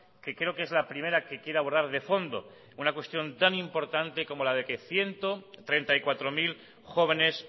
que creo que es la primera que quiere abordar de fondo una cuestión tan importante como la de que ciento treinta y cuatro mil jóvenes